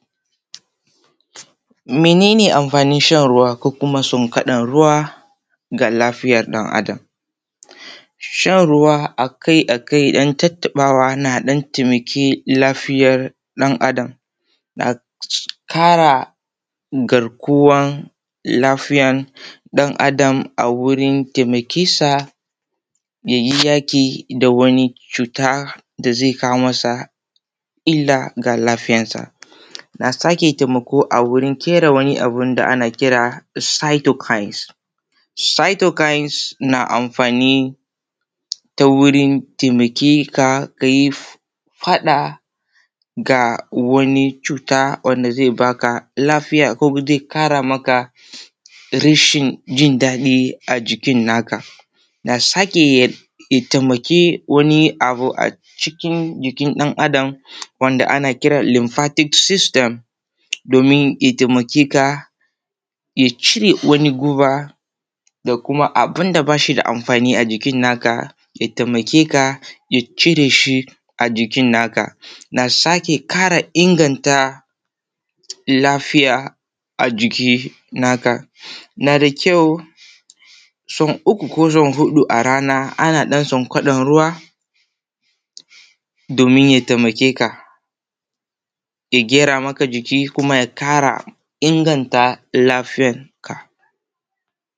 Menene amfanin shan ruwa ko kuma sonkwaɗan ruwa ga lafiyan ɗan Adam? Shan ruwa akai akai ɗan tattɓawa na ɗan taimaki lafiyan ɗan Adam na ƙara garkuwan lafiyan ɗan Adam a wurin taimakonsa yayi yaƙi da wani cuta da zai kawo masa illa ga lafiyansa. Na sake taimako a wajan ƙera wani abu da ake kira da da cytokines. Cytokines na amfani a wurin taimakon ka yi faɗa ga wani cuta wanda zai baka lafiya ko zai ƙara maka rashin jindaɗi a jikin na ka. Ya na sake taimakon wani abu a cikin jikin ɗan Adam wanda ake kira da lymphatic system domin ya taimake ka ya cire wani guba da kuma abun da ba shi da amfani a jikin na ka ya taimake ka ya cire shi a jikin naka. Na sake ƙara inganta lafiya a jikin naka. Na da kyau sau uku ko sau huɗu a rana ana ɗan kwankwaɗan ruwa domin ya taimake ka ya gyara maka jiki kuma ya ƙara inganta lafiyanka.